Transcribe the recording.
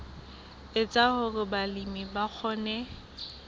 etsa hore balemi ba kgone